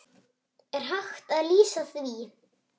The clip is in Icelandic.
Er hægt að lýsa því?